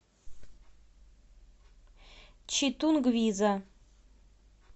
читунгвиза